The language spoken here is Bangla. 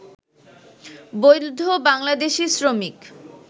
বৈধ বাংলাদেশি শ্রমিক